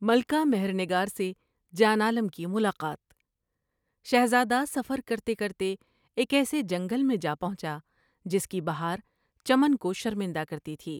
ملکہ مہر نگار سے جان عالم کی ملاقات شہزادہ سفر کرتے کرتے ایک ایسے جنگل میں جا پہنچا جس کی بہار چمن کو شرمندہ کرتی تھی ۔